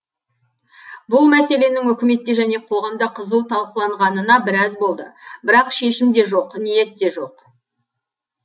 бұл мәселенің үкіметте және қоғамда қызу талқыланғанына біраз болды бірақ шешім де жоқ ниет де жоқ